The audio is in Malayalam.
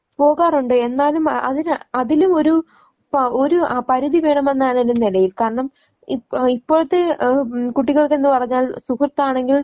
പോകാറുണ്ട് എന്നാലും ആ അതിന് അതിലും ഒരു പ ഒരു പരിധി വേണമെന്നാണ് ഒരു നിലയിൽ. കാരണം ഇപ്പോ ഇപ്പോഴത്തെ ആഹ് മ് കുട്ടികൾ എന്നുപറഞ്ഞാൽ സുഹൃത്താണെങ്കിൽ